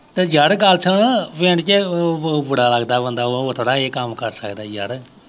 ਅਤੇ ਯਾਰ ਗੱਲ ਸੁਣ ਪਿੰਡ ਚ ਬੁ ਬੁਰਾ ਲੱਗਦਾ ਬੰਦਾ, ਉਹ ਥੋੜ੍ਹਾ ਇਹ ਕੰਮ ਕਰ ਸਕਦਾ ਯਾਰ